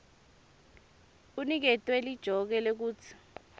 uniketwe lijoke lekutsi